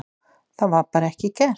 Það var bara ekki gert